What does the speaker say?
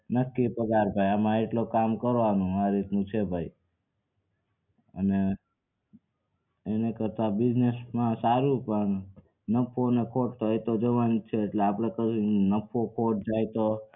નક્કી પગાર હોય એમાં કામ કરવાનું આ રીતનું છે ભાઈ અને એને કરતા business માં સારું પણ નફો ને ખોટ એ તો જવાની જ છે એટલે આપડે તો નફો ખોટ જાય તો